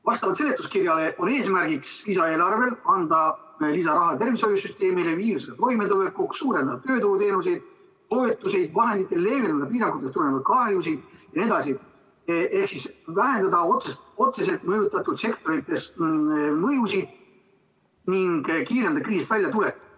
Vastavalt seletuskirjale on lisaeelarve eesmärk anda lisaraha tervishoiusüsteemile viirusega toimetulekuks, suurendada tööturuteenuseid ja -toetusi, leevendada piirangutest tulenevaid kahjusid jne ehk vähendada otseselt mõjutatud sektorites mõjusid ning kiirendada kriisist väljatulekut.